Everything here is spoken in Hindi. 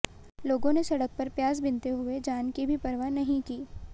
लोगों ने सड़क पर प्याज बीनते हुए जान की भी परवाह नहीं की